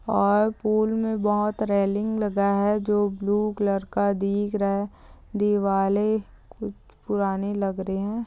--और पूल में बहुत रेलिंग लगा है जो ब्लू कलर का दिख रहा है दिवाले कुछ पुराने लग रहे हैं।